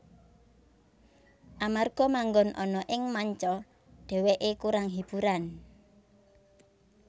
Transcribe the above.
Amarga manggon ana ing manca dhewekè kurang hiburan